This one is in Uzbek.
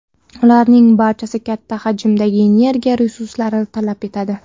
Ularning barchasi katta hajmdagi energiya resurslarini talab etadi.